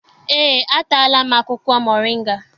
Eé, ataala m akwụkwọ moringa.